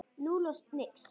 Núll og nix.